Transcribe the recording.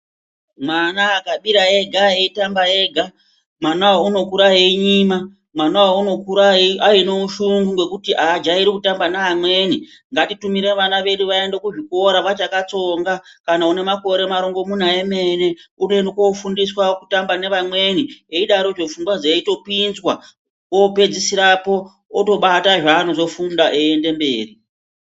Mwana akabira ega eitamba ega mwanawo unokura einyima mwanawo unokura aine ushungu ngekuti ajairi kutamba neamweni ngatitumire vana vedu vaende kuzvikora vachakatsonga kana une makore marongomuna emene unoenda kufundiswa kutamba nevamweni eidarozvo pfungwa dzeitopinzwa opedzisirapo otobata zvaanozofunga eyienda mberi.